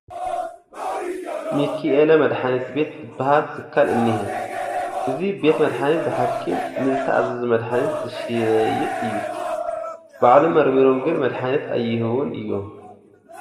ሚኪኤለ መዳሓኒት ቤት ዝበሃል ትካል እኒሀ፡፡ እዚ ቤት መድሓኒት ብሓኪም ንዝተኣዘዘ መድሓኒት ዝሸይጥ እዩ፡፡ ባዕሎም መርሚሮም ግን መድሓኒት ኣይህቡን እዮም፡፡